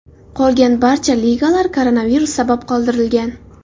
Qolgan barcha ligalar koronavirus sabab qoldirilgan.